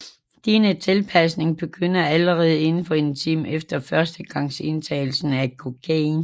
Denne tilpasning begynder allerede inden for en time efter førstegangsindtagelse af kokain